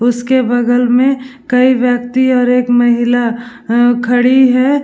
उसके बगल मे कई व्यक्ति और एक महिला खड़ी है ।